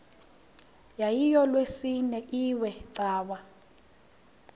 yayilolwesine iwe cawa